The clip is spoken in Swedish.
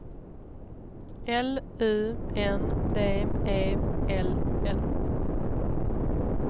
L U N D E L L